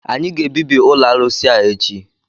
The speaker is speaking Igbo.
Anyị ga-ebibi ụlọ arụsị a echi!